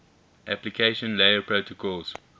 application layer protocols